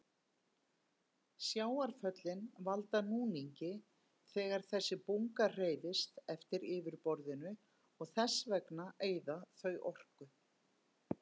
Sjávarföllin valda núningi þegar þessi bunga hreyfist eftir yfirborðinu og þess vegna eyða þau orku.